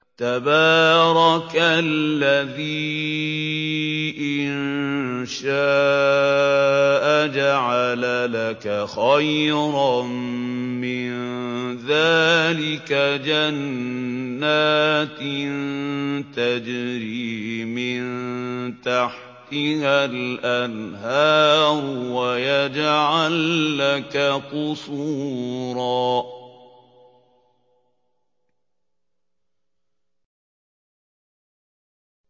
تَبَارَكَ الَّذِي إِن شَاءَ جَعَلَ لَكَ خَيْرًا مِّن ذَٰلِكَ جَنَّاتٍ تَجْرِي مِن تَحْتِهَا الْأَنْهَارُ وَيَجْعَل لَّكَ قُصُورًا